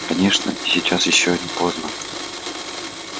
конечно сейчас ещё не поздно